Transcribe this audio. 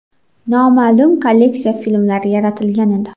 Noma’lum kolleksiya” filmlari yaratilgan edi.